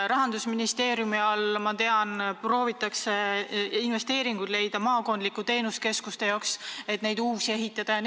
Rahandusministeeriumis, ma tean, proovitakse leida investeeringuid maakondlike teenusekeskuste jaoks, neid tuleb ju uusi ehitada.